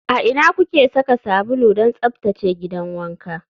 A ina kuke saka sabulu don tsaftace gidan wanka?